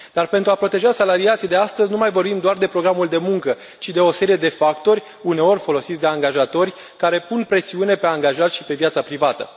Dar, pentru a proteja salariații de astăzi, nu mai vorbim doar de programul de muncă, ci de o serie de factori, uneori folosiți de angajatori, care pun presiune pe angajați și pe viața privată.